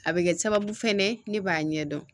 A bɛ kɛ sababu fɛnɛ ne b'a ɲɛdɔn